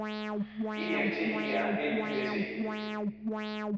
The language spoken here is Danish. E F T E R L Y S E